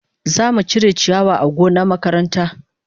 Za mu cire ciyawa a gonna makaranta.